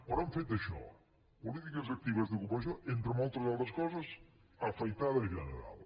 però han fet això polítiques actives d’ocupació entre moltes altres coses afaitada general